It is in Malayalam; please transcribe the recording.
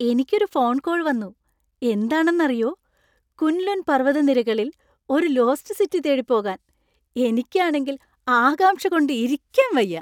എനിക്ക് ഒരു ഫോൺ കോൾ വന്നു. എന്താണെന്നറിയോ? കുൻ ലുൻ പർവതനിരകളിൽ ഒരു ലോസ്റ്റ് സിറ്റി തേടിപ്പോകാൻ. എനിക്കാണെങ്കിൽ ആകാംക്ഷ കൊണ്ട് ഇരിക്കാൻ വയ്യ!